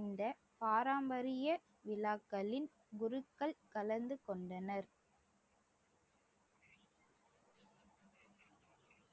இந்த பாரம்பரிய விழாக்களின் குருக்கள் கலந்து கொண்டனர்.